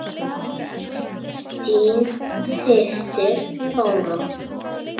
Þín systir, Bára.